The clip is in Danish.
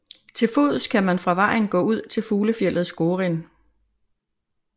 Til fods kan man fra vejen gå ud til fuglefjeldet Skorin